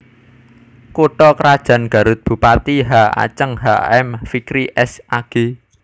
Kutha krajan GarutBupati H Aceng H M Fikri S Ag